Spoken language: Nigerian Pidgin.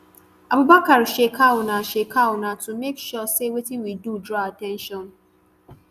abubakar shekau na shekau na to make sure say wetin we do draw at ten tion